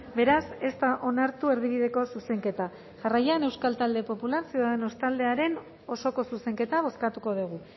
beraz ez da onartu erdibideko zuzenketa jarraian euskal talde popular ciudadanos taldearen osoko zuzenketa bozkatuko dugu